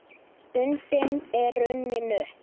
Stundin er runnin upp.